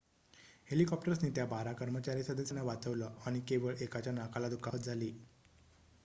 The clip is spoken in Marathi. हेलिकॉप्टर्सनी त्या बारा कर्मचारी सदस्यांना वाचवलं आणि केवळ एकाच्या नाकाला दुखापत झाली